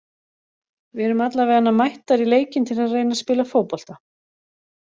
Við erum allavegana mættar í leikinn til að reyna að spila fótbolta.